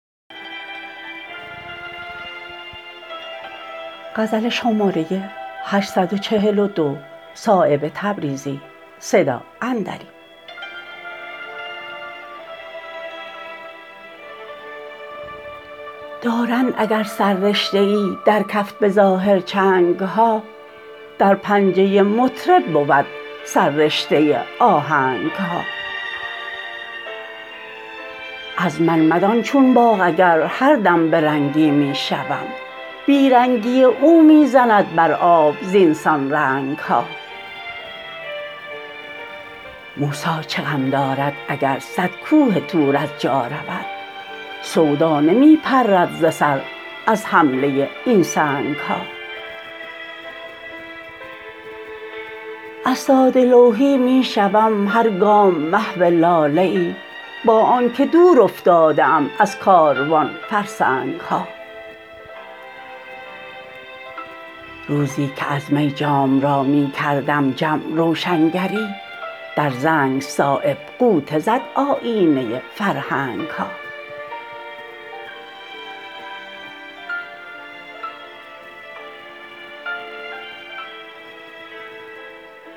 دارند اگر سررشته ای در کف به ظاهر چنگ ها در پنجه مطرب بود سررشته آهنگ ها از من مدان چون باغ اگر هردم به رنگی می شوم بی رنگی او می زند بر آب زینسان رنگ ها موسی چه غم دارد اگر صد کوه طور از جا رود سودا نمی پرد ز سر از حمله این سنگ ها از ساده لوحی می شوم هر گام محو لاله ای با آن که دور افتاده ام از کاروان فرسنگ ها روزی که از می جام را می کردم جم روشنگری در زنگ صایب غوطه زد آیینه فرهنگ ها